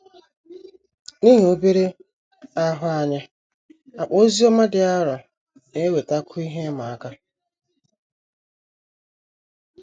N’ihi obere ahụ anyị, akpa oziọma dị arọ na - ewetakwu ihe ịma aka.